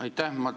Aitäh!